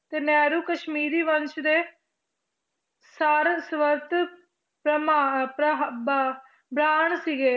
ਤੇ ਨਹਿਰੂ ਕਸ਼ਮੀਰੀ ਵੰਸ਼ ਦੇ ਸਾਰਸਵਤ ਬ~ ਬ੍ਰਾਣ ਸੀਗੇ।